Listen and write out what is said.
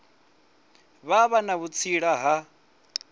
vha vha na vhutsila ha